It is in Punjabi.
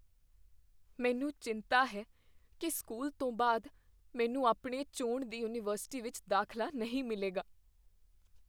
ਮੈਨੂੰ ਚਿੰਤਾ ਹੈ ਕੀ ਸਕੂਲ ਤੋਂ ਬਾਅਦ ਮੈਨੂੰ ਆਪਣੀ ਚੁਣਦੀ ਯੂਨੀਵਰਸਿਟੀ ਵਿੱਚ ਦਾਖਲਾ ਨਹੀਂ ਮਿਲੇਗਾ।